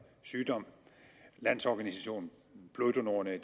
sygdom landsorganisationen bloddonorerne i